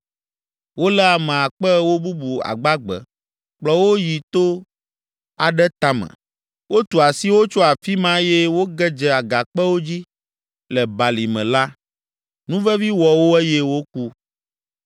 Wolé ame akpe ewo bubu agbagbe, kplɔ wo yi to aɖe tame; wotu asi wo tso afi ma eye woge dze agakpewo dzi le balime la, nuvevi wɔ wo eye woku.